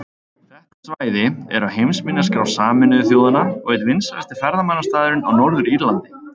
Þetta svæði er á heimsminjaskrá Sameinuðu þjóðanna og einn vinsælasti ferðamannastaðurinn á Norður-Írlandi.